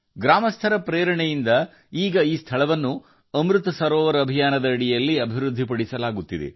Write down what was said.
ಗ್ರಾಮಸ್ಥರ ಪ್ರೇರಣೆಯಿಂದ ಈ ಸ್ಥಳವನ್ನು ಈಗ ಅಮೃತ ಸರೋವರ ಅಭಿಯಾನದಡಿ ಅಭಿವೃದ್ಧಿಪಡಿಸಲಾಗುತ್ತಿದೆ